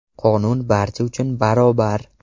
Qonun barcha uchun barobar!